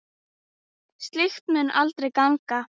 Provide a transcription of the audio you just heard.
Slíkt mundi aldrei ganga.